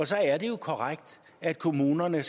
så er det jo korrekt at kommunerne